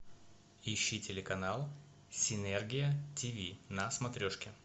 ищи телеканал синергия тиви на смотрешке